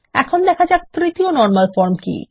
এখন দেখা যাক তৃতীয় নরমাল ফর্ম কী